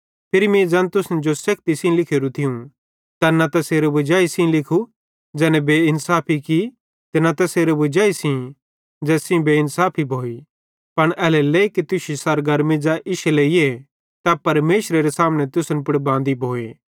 फिरी मीं ज़ैन तुसन जो सेखती सेइं लिखोरू थियूं तैन न तैसेरे वजाई सेइं लिखू ज़ैने बेइन्साफी की ते न तैसेरे वजाई सेइं ज़ैस सेइं बेइन्साफी भोइ पन एल्हेरेलेइ कि तुश्शी सरगरमी ज़ै इश्शे लेइए तै परमेशरेरे सामने तुसन पुड़ बांदी भोए